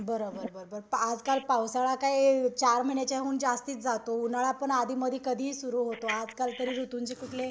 बोरबर बरोबर आजकाल पावसाळा काय चार महिन्याच्याहून जास्तीच जातो. उन्हाळा पण अधिमधि कधीही सुरु होतो.आजकाल तरी ऋतूंचे कुठले